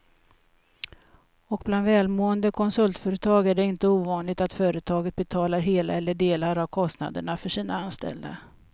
Och bland välmående konsultföretag är det inte ovanligt att företaget betalar hela eller delar av kostnaden för sina anställda.